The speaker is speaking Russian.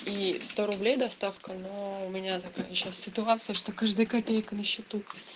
и сто рублей доставка но у меня сейчас такая ситуация что каждая копейка на счету